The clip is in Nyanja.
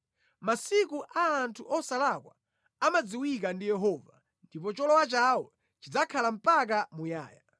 Masiku a anthu osalakwa amadziwika ndi Yehova, ndipo cholowa chawo chidzakhala mpaka muyaya.